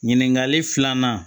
Ɲininkali filanan